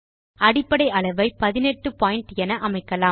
அடிப்படை அளவை 18 பாயிண்ட் என அமைக்கலாம்